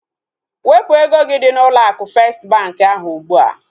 Wepụ ego gị dị n'ụlọ akụ festi bankị ahụ ugbua!